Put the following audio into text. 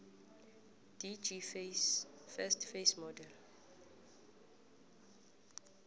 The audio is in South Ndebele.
dgs first face model